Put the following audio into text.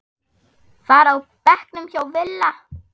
var á bekknum hjá Villa.